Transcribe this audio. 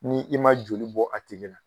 Ni i ma joli bɔ a tigi la